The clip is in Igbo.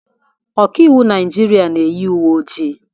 Ọkaiwu Naijiria na-eyi uwe ojii